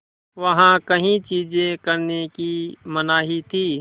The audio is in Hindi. वहाँ कई चीज़ें करने की मनाही थी